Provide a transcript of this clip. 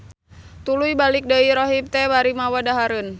Tuluy balik deu rahib teh bari mawa dahareun.